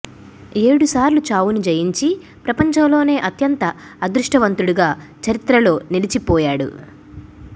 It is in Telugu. ఏడు సార్లు చావును జయించి ప్రపంచంలోనే అత్యంత అదృష్టవంతుడుగా చరిత్రలో నిలిచిపోయాడు